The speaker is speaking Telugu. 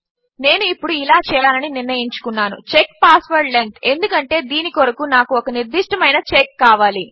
నేను ఇప్పుడు ఇలా చేయాలని నిర్ణయించుకున్నాను check పాస్వర్డ్ లెంగ్త్ ఎందుకంటే దీని కొరకు నాకు ఒక నిర్దిష్టమైన చెక్ కావాలి